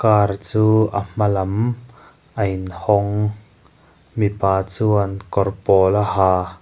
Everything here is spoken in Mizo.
car chu a hmalam a in hawng mipa chuan kawr pawl a ha.